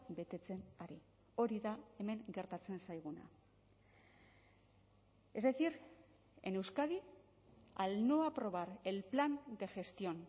betetzen ari hori da hemen gertatzen zaiguna es decir en euskadi al no aprobar el plan de gestión